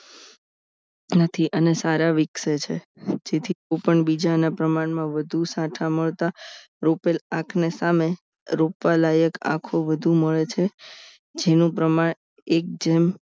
નથી અને સારા વિકસે છે જેથી કોઈપણ બીજાના પ્રમાણમાં વધુ સાઠા મળતા રોપેલા આંખને સામે રોપાયેલા એક આખું બધું મળે છે જેનું પ્રમાણ એક જેમ